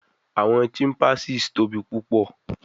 Awọn chimpanzees tobi pupọ